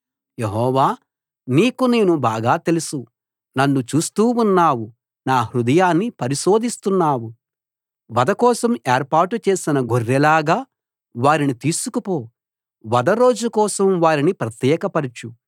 యెహోవా నీకు నేను బాగా తెలుసు నన్ను చూస్తూ ఉన్నావు నా హృదయాన్ని పరిశోధిస్తున్నావు వధ కోసం ఏర్పాటు చేసిన గొర్రెల్లాగా వారిని తీసుకుపో వధ రోజు కోసం వారిని ప్రత్యేక పరచు